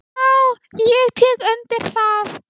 """Já, ég tek undir það."""